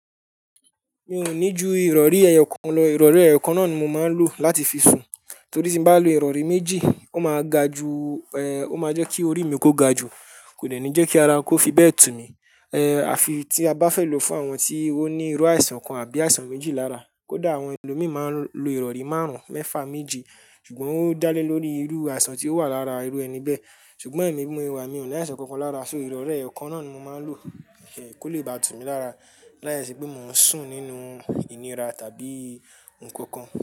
Mi ò ní ju ìrọ̀rí ẹyọkàn lọ, ìrọ̀rí ẹyọkàn náà ni mo máa ń lò láti fi sùn. Torí tí n bá lò ìrọ̀rí méjì, ó máa ga ju, ẹ, ó máa jẹ́ kí orí mi kó ga ju, kò deni jẹ́ kí ara kó fi bẹ́ẹ̀ tù mí. Ehn, àfi tí a bá fẹ́ lò fún àwọn tí ó ní irú àìsàn kan àbí àìsàn méjì lára, kódà àwọn ẹlòmíràn máa ń lo ìrọ̀rí márùn-ún, mẹ́fà, méje, ṣùgbọ́n ó dá lé lórí irú àìsàn tí ó wà lára irú ẹni bẹ́ẹ̀. Ṣùgbọ́n èmi bí mọ ṣe wà mi, ò ní àìsàn kankan lára, so ìrọ̀rí ẹyọkàn náà ni mo máa ń lò, eh, kó lè bá tù mí lára láìṣe pé mò ń sùn nínú ìnira tàbí nkankan.